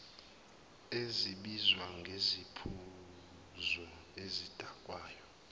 esibizwa ngesiphuzo esidakayo